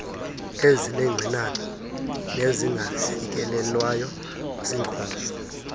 ezinengxinano nezingafikelelwayo zinkozo